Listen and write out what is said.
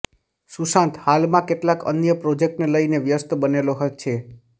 સુશાંત હાલમાં કેટલાક અન્ય પ્રોજેક્ટને લઇને વ્યસ્ત બનેલો છે